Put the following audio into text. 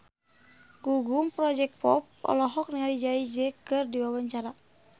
Gugum Project Pop olohok ningali Jay Z keur diwawancara